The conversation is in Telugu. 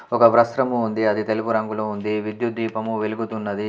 ఒక వ్రస్త్రము ఉంది. అది తెలుపు రంగులో ఉంది. విద్యుత్ దీపము వెలుగుతున్నది.